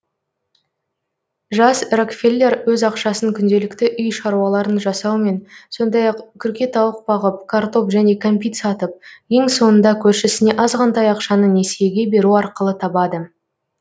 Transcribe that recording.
жас рокфеллер өз ақшасын күнделікті үй шаруаларын жасаумен сондай ақ күркетауық бағып картоп және кәмпит сатып ең соңында көршісіне азғантай ақшаны несиеге беру арқылы табады